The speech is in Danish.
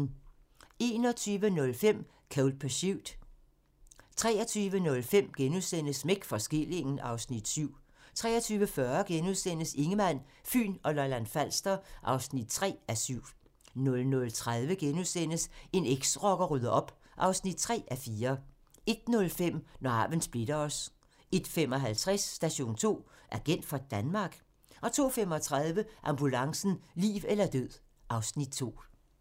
21:05: Cold Pursuit 23:05: Smæk for skillingen (Afs. 7)* 23:40: Ingemann, Fyn og Lolland-Falster (3:7)* 00:30: En eksrocker rydder op (3:4)* 01:05: Når arven splitter os 01:55: Station 2: Agent for Danmark? 02:35: Ambulancen - liv eller død (Afs. 2)